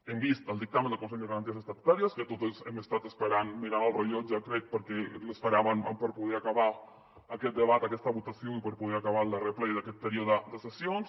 hem vist el dictamen del consell de garanties estatutàries que totes hem estat esperant mirant el rellotge crec perquè l’esperàvem per poder acabar aquest debat aquesta votació i per poder acabar el darrer ple d’aquest període de sessions